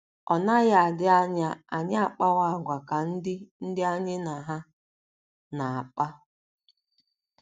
Ọ naghị adị anya anyị akpawa àgwà ka ndị ndị anyị na ha na - akpa.